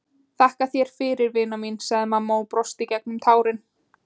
Þakka þér fyrir, vina mín, sagði mamma og brosti gegnum tárin.